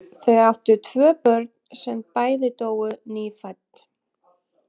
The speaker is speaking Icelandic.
Þau áttu tvö börn sem bæði dóu nýfædd.